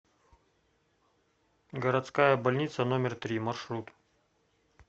городская больница номер три маршрут